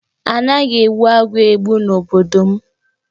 A naghi egbu agwọ́ egbu n'obodo m.